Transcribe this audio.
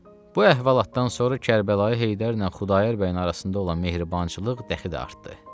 Bu əhvalatdan sonra Kərbəlayı Heydərlə Xudayar bəyin arasında olan mehribançılıq dəxli də artdı.